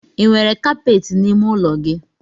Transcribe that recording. I nwere kapeti n’ime ụlọ?